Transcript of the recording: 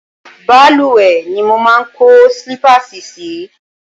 Balùwẹ̀ ni mo máa kó sílípáàsì sì í.